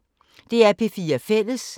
DR P4 Fælles